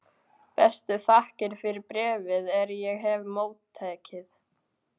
Bestu þakkir fyrir bréfið er ég hef móttekið.